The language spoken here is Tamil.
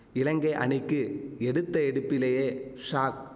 இலங்கை அணிக்கு எடுத்த எடுப்பிலேயே ஷாக்